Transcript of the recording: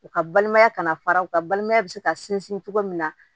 U ka balimaya ka na fara u ka balimaya be se ka sinsin cogo min na